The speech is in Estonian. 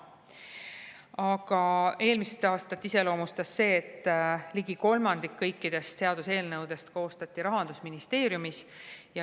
Aga eelmist aastat iseloomustas see, et ligi kolmandik kõikidest seaduseelnõudest koostati Rahandusministeeriumis.